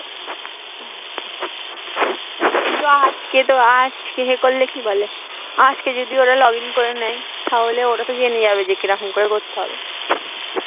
আজকে যদি login করে নেয় তাহলে ওরা তো জেনে যাবে কিরকম করে করতে হবে